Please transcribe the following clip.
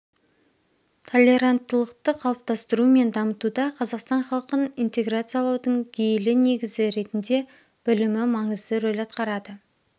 толеранттылықты қалыптастыру мен дамытуда қазақстан халқын интеграциялаудың гейлі негізі ретінде білім маңызды рөль атқарады